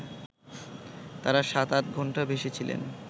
তারা সাত-আটঘণ্টা ভেসে ছিলেন